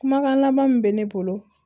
Kumakan laban min bɛ ne bolo